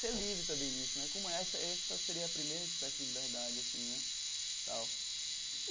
ser livre também nisso né, como essa essa seria a primeira espécie de liberdade assim né tal.